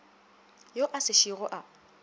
yo a se šogo a